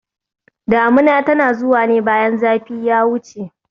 Damuna tana zuwa ne bayan zafi ya wuce